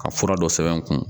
Ka fura dɔ sɛbɛn n kun